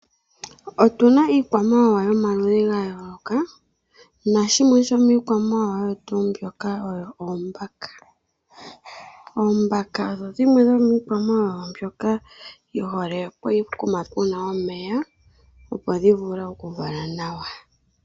Otuna iikwamawawa yomaludhi gayooloka nashimwe shomikwamawawa mbika oombaka. Ombaka odho dhimwe dhomikwamawawa mbyoka dhihole pokuma puna omeya opo dhivule okuvala nawa.